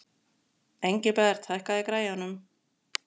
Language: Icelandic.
Engilbert, hækkaðu í græjunum.